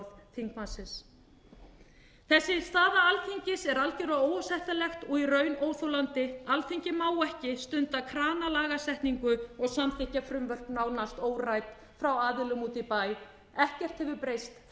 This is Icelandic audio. orð þingmannsins þessi staða alþingis er algjörlega óásættanlegt og í raun óþolandi alþingi má ekki stunda kranalagasetningu og samþykkja frumvörp nánast órædd frá aðilum úti í bæ ekkert hefur breyst